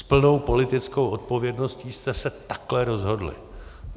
S plnou politickou odpovědností jste se takhle rozhodli.